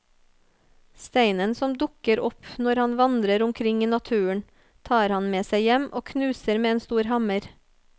Steinen som dukker opp når han vandrer omkring i naturen, tar han med seg hjem og knuser med en stor hammer.